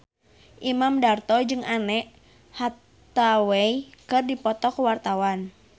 Imam Darto jeung Anne Hathaway keur dipoto ku wartawan